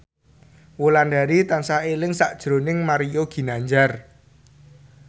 Wulandari tansah eling sakjroning Mario Ginanjar